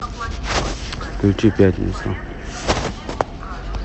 включи пятницу